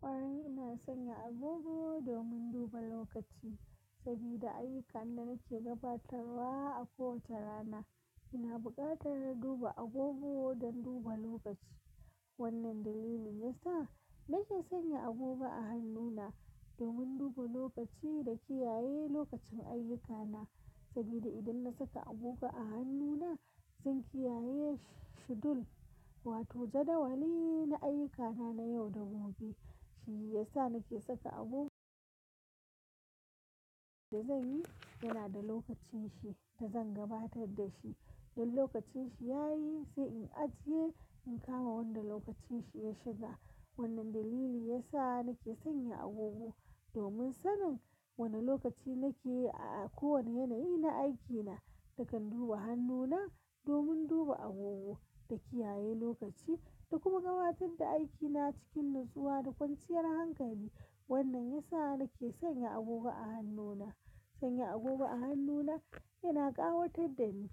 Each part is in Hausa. Kwarai ina sanya agogo domin duba lokaci sabida ayyukan da nake gabatarwa a kowace rana. Ina buƙatar duba agogo don duba lokaci. Wannan dalilin yasa nake sanya agogo a hannuna domin duba lokaci da kiyaye lokacin ayyukana sabida idan na saka agogo a hannuna, zan kiyaye shidul wato jadawali na ayyukana na yau da gobe. Shi ya sa nake saka agogo. Da zan yi yana da lokacin shi da zan gabatar da shi. Dan lokacin shi yayi sai in ajiye in kama wanda lokacin shi ya shiga. Wannan dalili yasa nake sanya agogo domin sanin wane lokaci nake a kowane yanayi na aikina. Nakan duba hannuna domin duba agogo da kiyaye lokaci da kuma gabatar da aikina cikin nutsuwa da kwanciyar hankali. Wannan yasa nake sanya agogo a hannuna. Sanya agogo a hannuna yana ƙawatar da ni,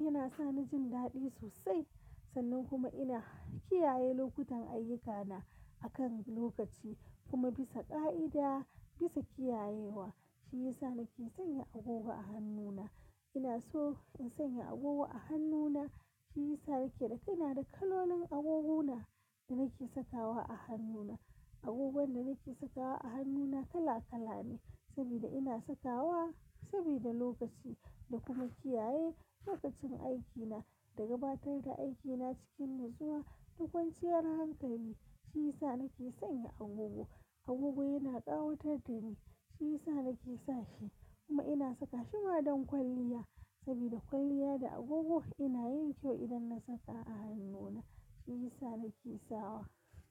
yana sa ni jin daɗi sosai sannan kuma ina kiyaye lokutan ayyukana a kan lokaci kuma bisa ƙa'ida, bisa kiyayewa. Shi ya sa nake sanya agogo a hannuna. Ina so in sanya agogo a hannuna. Shi ya sa yake da ina da kalonin agoguna da nake sakawa a hannuna. Agogon da nake sakawa a hannuna kala kala ne sabida ina sakawa sabida lokaci da kuma kiyaye lokacin aikina da gabatar da aikina cikin nutsuwa da kwanciyar hankali. Shi ya sa nake sanya agogo. Agogo yana ƙawatar da ni. Shi ya sa nake sa shi kuma ina saka shi ma don kwalliya sabida kwalliya da agogo yana yin kyau idan na saka a hannuna. Shi ya sa nake sawa.